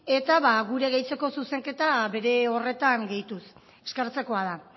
eta gure gehitzeko zuzenketa bere horretan gehituz eskertzekoa da